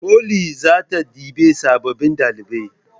Foli zata ɗebi sababbin ɗalibai